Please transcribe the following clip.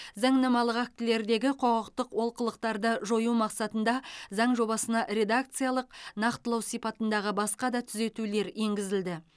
заңнамалық актілердегі құқықтық олқылықтарды жою мақсатында заң жобасына редакциялық нақтылау сипатындағы басқа да түзетулер енгізілді